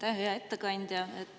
Aitäh, hea ettekandja!